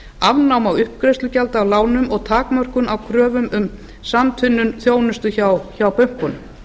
afnám á uppgreiðslu gjalda af lánum og takmörkun á kröfum um samtvinnun þjónustu hjá bönkunum